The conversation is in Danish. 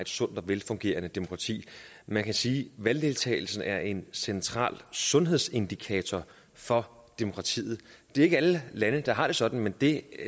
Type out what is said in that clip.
sundt og velfungerende demokrati man kan sige at valgdeltagelsen er en central sundhedsindikator for demokratiet det er ikke alle lande der har det sådan men det